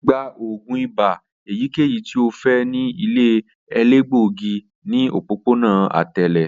O le gba oògùn ibà eyikeyi ti o fẹ ni ile elegbogi ni opopona atẹle